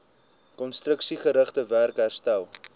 konstruksiegerigte werk herstel